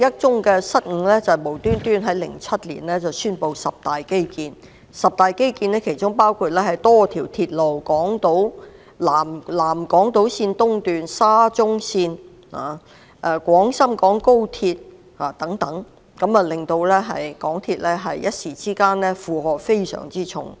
此外，當局無故在2007年宣布進行十大基建，當中包括多條鐵路如南港島線東段、沙中線和廣深港高速鐵路等，令港鐵公司的負荷突然加重不少。